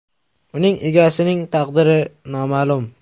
Uning egasining taqdiri noma’lum.